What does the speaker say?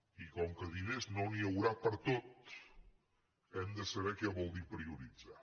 i com que de diners no n’hi haurà per a tot hem de saber què vol dir prioritzar